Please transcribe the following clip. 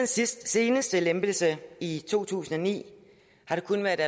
seneste lempelse i to tusind og ni